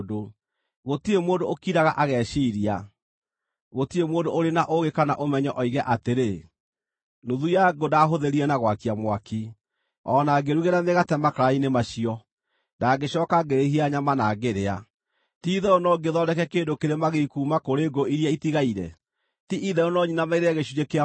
Gũtirĩ mũndũ ũkiraga ageciiria, gũtirĩ mũndũ ũrĩ na ũũgĩ kana ũmenyo oige atĩrĩ, “Nuthu ya ngũ ndahũthĩrire na gwakia mwaki; o na ngĩrugĩra mĩgate makara-inĩ macio, na ngĩcooka ngĩhĩhia nyama na ngĩrĩa. Ti-itherũ no ngĩthondeke kĩndũ kĩrĩ magigi kuuma kũrĩ ngũ iria itigaire? Ti-itherũ no nyinamĩrĩre gĩcunjĩ kĩa mũtĩ?”